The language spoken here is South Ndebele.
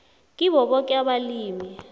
kibo boke abalimi